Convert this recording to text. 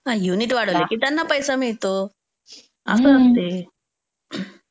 हम्म, युनिट वाढवले की त्यांना पैसा मिळतो, असं असते.